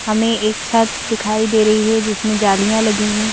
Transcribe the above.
हमें एक छत दिखाई दे रही है जिसमें जालियां लगी हैं।